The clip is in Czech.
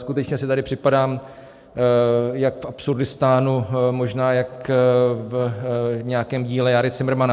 Skutečně si tady připadám jako v Absurdistánu, možná jak v nějakém díle Járy Cimrmana.